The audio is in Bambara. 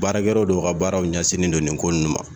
Baarakɛ yɔrɔ dɔw ka baaraw ɲɛsinnen don nin ko ninnu ma.